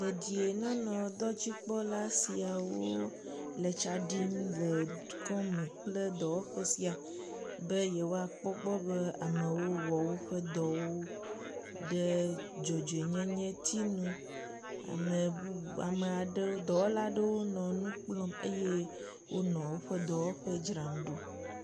Dedienɔnɔdɔdzikpɔla siawo le tsa ɖim le dukɔ me kple dɔwɔƒe sia be yewoakpɔ gbɔ be amewo wɔ woƒe dɔwo ɖe dzɔdzoenyenyetiŋu. Ame bubu ame aɖewo dɔwɔla aɖewo nɔ nu kplɔm eye wonɔ woƒe dɔwɔƒe dzram ɖom.